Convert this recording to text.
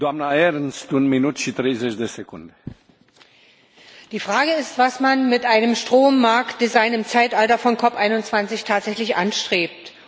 Herr Präsident! Die Frage ist, was man mit einem Strommarktdesign im Zeitalter von COP 21 tatsächlich anstrebt.